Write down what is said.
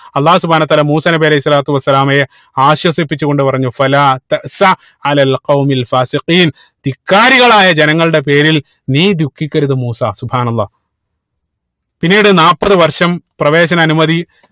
അള്ളാഹു സുബ്‌ഹാനഉ വതാല മൂസാ നബി അലൈഹി സ്വലാത്തു വസ്സലാമയെ ആശ്വസിപ്പിച്ച് കൊണ്ട് പറഞ്ഞു ധിക്കാരികളായ ജനങ്ങളുടെ പേരിൽ നീ ദുഃഖിക്കരുത് മൂസാ അല്ലാഹ് പിന്നീട് നാപ്പത് വർഷം പ്രവേശന അനുമതി